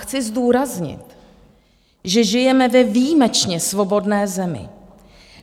Chci zdůraznit, že žijeme ve výjimečně svobodné zemi.